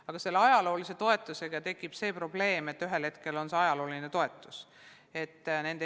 Aga selle ajaloolise toetusega tekib probleem, et ühel hetkel see muutubki ajalooliseks toetuseks.